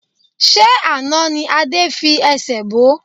Ṣé àná ni Adé fi ẹsẹ̀ bo?